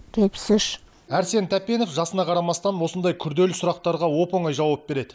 жетпіс үш әрсен тәпенов жасына қарамастан осындай күрделі сұрақтарға оп оңай жауап береді